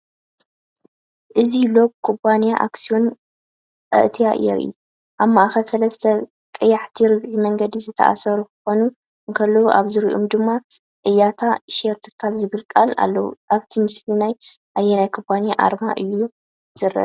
እዚ ሎጎ ኩባንያ ኣክስዮን ኣያት የርኢ። ኣብ ማእኸል ሰለስተ ቀያሕቲ ርብዒ መንገዲ ዝተኣሳሰሩ ክኾኑ እንከለዉ፡ ኣብ ዙርያኦም ድማ "ኣያት ሼር ትካል"ዝብሉ ቃላት ኣለዉ። ኣብቲ ምስሊ ናይ ኣየናይ ኩባንያ ኣርማ እዩ ዝርአ ዘሎ?